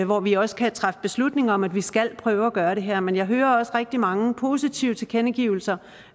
hvor vi også kan træffe beslutning om at vi skal prøve at gøre det her men jeg hører også rigtig mange positive tilkendegivelser